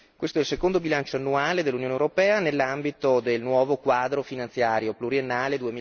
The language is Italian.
Questo è il secondo bilancio annuale dell'Unione europea nell'ambito del nuovo quadro finanziario pluriennale